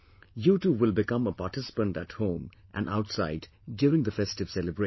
You too will become a participant at home and outside during the festive celebrations